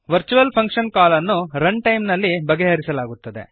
virtual function call ಅನ್ನು run time ನಲ್ಲಿ ಬಗೆಹರಿಸಲಾಗುತ್ತದೆ